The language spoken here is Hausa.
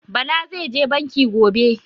Bala zai je Banki gobe